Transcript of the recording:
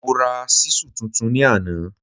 Mo ra ṣísù tuntun ní àná